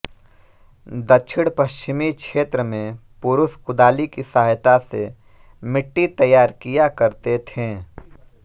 दक्षिणपश्चिमी क्षेत्र में पुरुष कुदाली की सहायता से मिट्टी तैयार किया करते थे